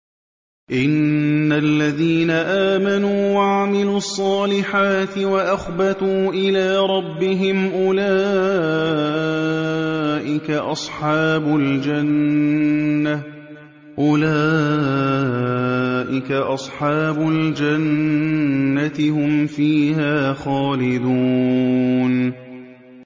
إِنَّ الَّذِينَ آمَنُوا وَعَمِلُوا الصَّالِحَاتِ وَأَخْبَتُوا إِلَىٰ رَبِّهِمْ أُولَٰئِكَ أَصْحَابُ الْجَنَّةِ ۖ هُمْ فِيهَا خَالِدُونَ